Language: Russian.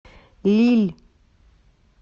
лилль